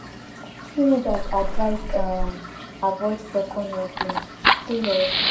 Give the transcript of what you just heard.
teenagers advised um avoid second helpings stay healthy